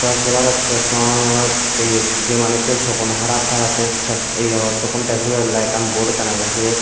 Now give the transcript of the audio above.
tor sebar hosse songos ye je manussor sokkun harap taratte sokkun tes guriballai ekkan bod ekkan agey siot.